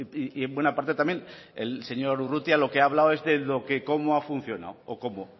y en buena parte también el señor urrutia lo que ha hablado es de cómo ha funcionado o cómo